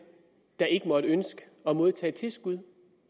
der ikke måtte ønske at modtage tilskud